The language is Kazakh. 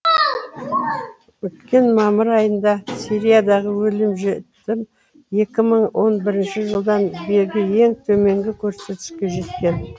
өткен мамыр айында сириядағы өлім жітім екі мың он бірінші жылдан бергі ең төменгі көрсеткішке жеткен